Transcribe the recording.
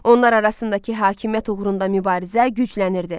Onlar arasındakı hakimiyyət uğrunda mübarizə güclənirdi.